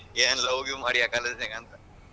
ಏನ್ love give ಮಾಡಿಯಾ college ನಾಗ ಅಂತಾ.